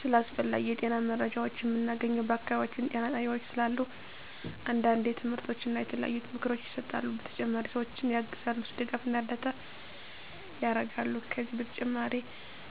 ስለ አስፈላጊ የጤና መረጃዎችን ምናገኘው በአካባቢያችን ጤና ጣቤያዎች ስላሉ አንዳንዴ ትምህርቶች እና የተለያዩ ምክሮች ይሰጣሉ በተጨማሪ ሰዎችን ያግዛሉ ድጋፍና እርዳታ ያረጋሉ ከዚህ በተጨማሪ